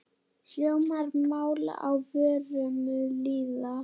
Hljómar mál á vörum lýða.